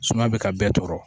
Suma bɛ ka bɛɛ tɔɔrɔ